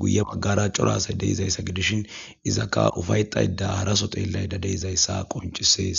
guye maggara corasay deizayssa gidishin izakka ufay xayda haraso xeellayda deizayssa qoncisees